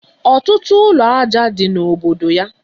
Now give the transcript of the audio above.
Ọtụtụ ụlọ aja dị na obodo ya